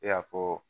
I y'a fɔ